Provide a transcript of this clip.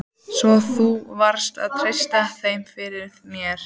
Svo þú verður að treysta þeim fyrir. þér.